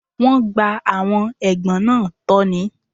Wọ́n gba àwọn ẹ̀gbọ́n náà tọ́ ni.